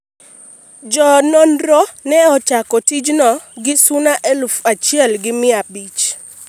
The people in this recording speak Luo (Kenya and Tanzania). jo nonro ne ochako tijno gi suna eluf achiel gi mia abich